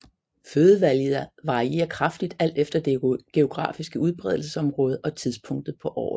Fødevalget varierer kraftigt alt efter det geografiske udbredelsesområde og tidspunktet på året